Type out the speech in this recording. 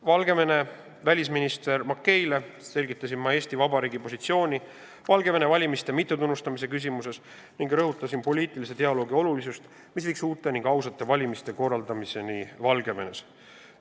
Valgevene välisministrile Makeile selgitasin ma Eesti Vabariigi positsiooni Valgevene valimiste mittetunnustamise küsimuses ning rõhutasin poliitilise dialoogi olulisust, mis viiks uute ja ausate valimiste korraldamiseni Valgevenes.